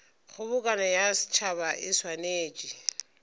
kgobokano ya setšhaba e swanetše